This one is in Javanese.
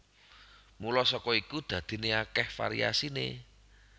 Mula saka iku dadiné akèh variasiné